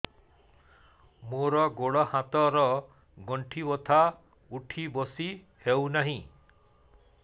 ମୋର ଗୋଡ଼ ହାତ ର ଗଣ୍ଠି ବଥା ଉଠି ବସି ହେଉନାହିଁ